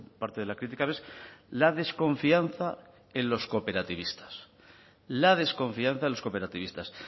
parte de la crítica es la desconfianza en los cooperativistas la desconfianza en los cooperativistas